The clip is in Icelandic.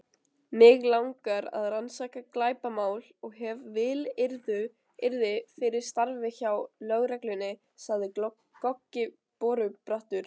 Mig langar að rannsaka glæpamál og hef vilyrði fyrir starfi hjá lögreglunni, sagði Goggi borubrattur.